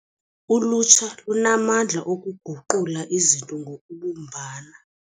Ulutsha lunamandla okuguqula izinto ngokubumbana.